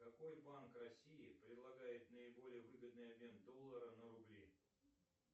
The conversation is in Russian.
какой банк россии предлагает наиболее выгодный обмен доллара на рубли